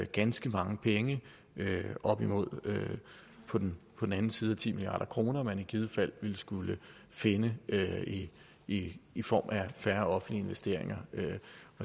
ganske mange penge op imod på den anden side af ti milliard kr man i givet fald ville skulle finde i i form af færre offentlige investeringer